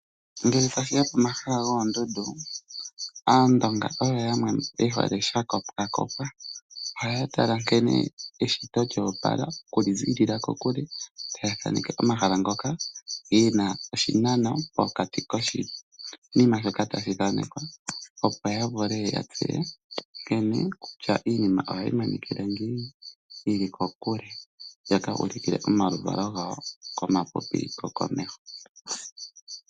Ngele tashi ya pomahala goondundu, Aandonga oyo yamwe ye hole sha kopwakopwa. Ohaya tala nkene eshito lyoopala oku li ziilila kokule taya thaneke omahala ngoka pu na oshinano pokati koshinima shoka tashi thanekwa, opo ya tseye kutya iinima ohayi monika ngiini yi li kokule, ya ka ulukile omaluvalo gawo komapupi gokomeho.